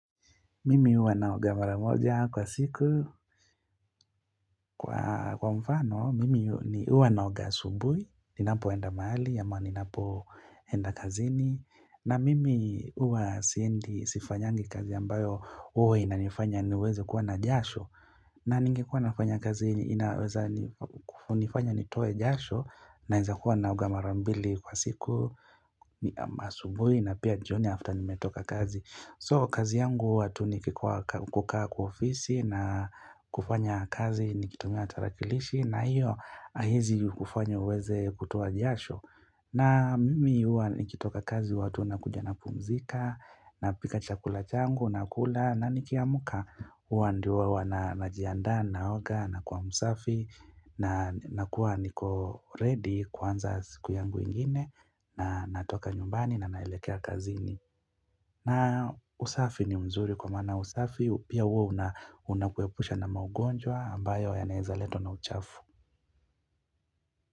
Mimi huwa naogamara moja kwa siku. Kwa mfano, mimi huwa naoga asubui, ninapo enda mahali, ama ninapo enda kazini. Na mimi huwa siendi sifanyangi kazi ambayo huwa inanifanya niweze kuwa na jasho. Na ningekuwa nafanya kazi inaweza nifanya nitoe jasho naweza kuwa naoga mara mbili kwa siku, ma asubui na pia jioni after nimetoka kazi. So kazi yangu huwa tu nikikua kukaa kwa ofisi na kufanya kazi nikitumia tarakilishi na hiyo haezi kufanya uweze kutoa jasho. Na mimi huwa nikitoka kazi huwatu nakuja na pumzika na pika chakula changu na kula na nikiamuka huwa ndiwa wa na najiandaa naoga na kuwa msafi na nakuwa niko ready kuanza siku yangu ingine na natoka nyumbani na naelekea kazini. Na usafi ni mzuri kwa maana usafi pia huwa una unakuepusha na maugonjwa ambayo ya naeza letwa na uchafu.